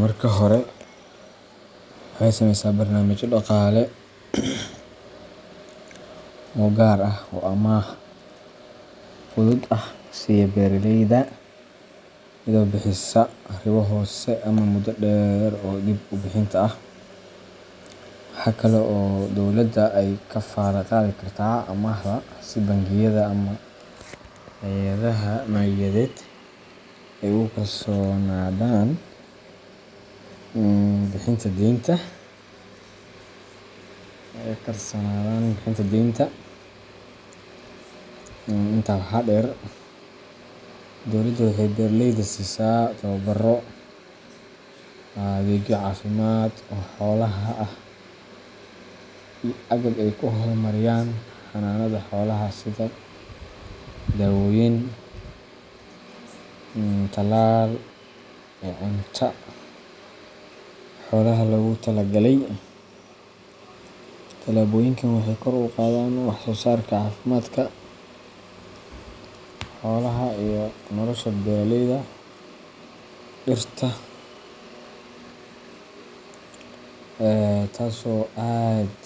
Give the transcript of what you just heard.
Marka hore, waxay sameysaa barnaamijyo dhaqaale oo gaar ah oo amaah fudud ah siiya beeraleyda, iyadoo bixisa ribo hoose ama muddo dheer oo dib u bixinta ah. Waxa kale oo dowladda ay kafaalo qaadi kartaa amaahda si bangiyada ama hay’adaha maaliyadeed ay ugu kalsoonaadaan bixinta deynta. Intaa waxaa dheer, dowladda waxay beeraleyda siisaa tababaro, adeegyo caafimaad oo xoolaha ah, iyo agab ay ku horumariyaan xanaanada xoolaha sida daawooyin, talaal iyo cunto xoolaha loogu talagalay. Tallaabooyinkan waxay kor u qaadaan wax-soosaarka, caafimaadka xoolaha, iyo nolosha beeraleyda. dirta taso aad